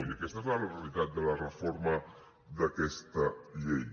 i aquesta és la realitat de la reforma d’aquesta llei